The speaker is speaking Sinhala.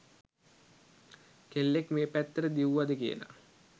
කෙල්ලෙක් මේ පැත්තට දිව්වද කියලා.